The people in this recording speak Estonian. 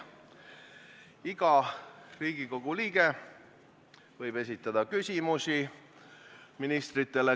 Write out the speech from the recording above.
Iga Riigikogu liige võib ministritele küsimusi esitada.